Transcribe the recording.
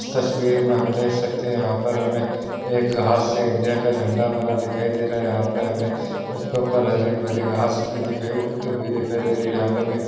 इस तस्वीर में हम देख सकते हैं यहाँ पे हमें एक घाँस से इंडिया का झंडा बना दिखाई दे रहा है यहाँ पे हमे उसके ऊपर हरी भरी घाँस भी दिख रही उगी उगी दिखाई दे रही है यहाँ पे हमे--